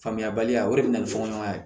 Faamuyabaliya o de bɛ na ni fɔkɔnuman ye